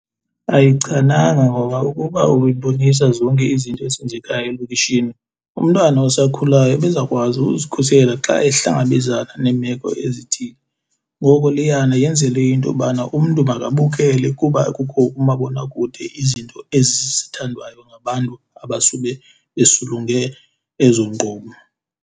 Ayichananga ngoba ukuba ububonisa zonke izinto ezenzekayo elokishini umntwana osakhulayo ebezawukwazi uzikhusela xa ehlangabezana neemeko ezithile. Ngoko leyana yenzelwe intobana umntu makabukele kuba kukho umabonakude izinto ezi zithandwayo ngabantu abasube besulunge ezo nkqubo.